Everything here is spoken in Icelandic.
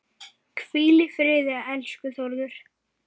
Hvíl í friði, elsku Þórður.